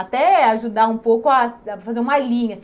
Até ajudar um pouco a a fazer uma linha.